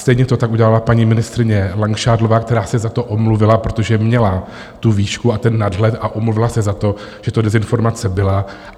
Stejně to tak udělala paní ministryně Langšádlová, která se za to omluvila, protože měla tu výšku a ten nadhled a omluvila se za to, že to dezinformace byla.